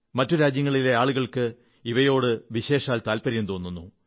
മറ്റു രാജ്യങ്ങളിലെ ആളുകൾക്ക് ഇവയോട് വിശേഷാൽ താത്പര്യം തോന്നുന്നു